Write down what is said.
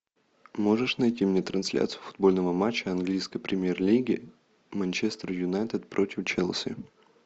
можешь найти мне трансляцию футбольного матча английской премьер лиги манчестер юнайтед против челси